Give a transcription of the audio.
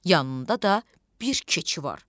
Yanında da bir keçi var.